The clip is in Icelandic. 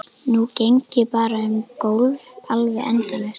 Nú geng ég bara um gólf, alveg endalaust.